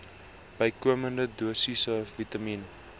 bykomende dosisse vitamien